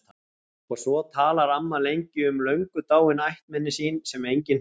Og svo talar amma lengi um löngu dáin ættmenni sín sem enginn þekkir.